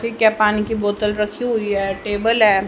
पीके पानी की बोतल रखी हुई है टेबल है।